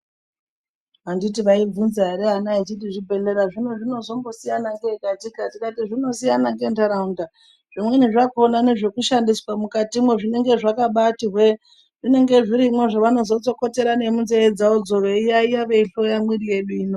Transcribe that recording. Anditi vaivhunza ere vana vachiti zvibhedhleya zvino zvinozombosiyana ngei katika ndikati zvinosiyana ngentaraunda, zvimweni zvakona nezvekushandiswa mukatimwo zvinenge zvakabati hwee zvinenge zvirimwo zvavanozotsokotere munzee dzavodzo veiyaiya veihloya mwiri yedu ino.